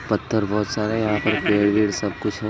पत्थर बहोत सारे यहां पे पेड़ वेड सब कुछ है।